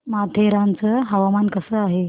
माथेरान चं हवामान कसं आहे